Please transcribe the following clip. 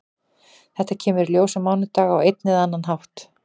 Þetta kemur í ljós á mánudag á einn eða annan hátt.